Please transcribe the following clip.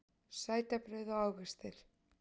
Sætabrauð og ávextir